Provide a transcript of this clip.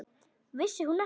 Vissi hún ekki!